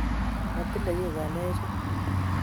Matile kiy ngalek chug